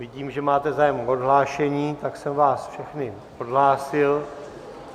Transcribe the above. Vidím, že máte zájem o odhlášení, tak jsem vás všechny odhlásil.